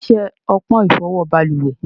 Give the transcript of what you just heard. Kíni iṣẹ ọpọn ifọwọ baluwẹ̀?